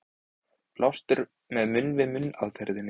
Blástur með munn-við-munn aðferðinni.